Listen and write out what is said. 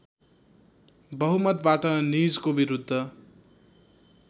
बहुमतवाट निजको विरुद्ध